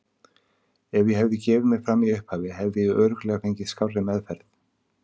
Ef ég hefði gefið mig fram í upphafi hefði ég örugglega fengið skárri meðferð.